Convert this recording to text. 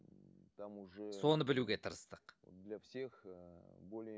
там уже соны білуге тырыстық для всех более